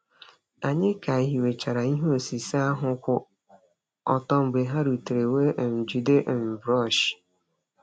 Anyị ka hiwechara ihe osise ahụ kwụ ọtọ mgbe ha rutere wee um jide um brọọsh.